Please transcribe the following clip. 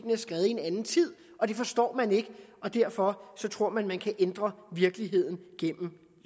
en anden tid og det forstår man ikke og derfor tror man man kan ændre virkeligheden gennem